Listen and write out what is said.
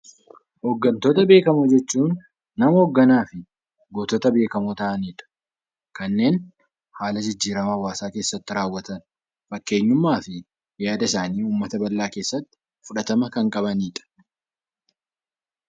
Hoggantoota beekamoo jechuun nama hogganaadha. Gootota beekamoo ta'anidha. Kanneen haaala jijjiiramaa hawwaasa keessatti raawwatan, fakkeenyummaa fi yaada isaaniin hawwaasa keessatti fudhatama kan qabanidha.